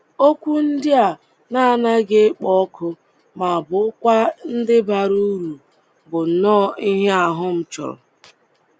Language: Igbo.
Okwu ndị a na anaghị èkpo ọkụ ma bụ́kwa ndị bara uru, bụ nnọọ ihe ahụ m chọrọ